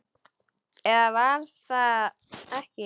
Eða var það ekki?